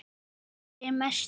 Missir ykkar er mestur.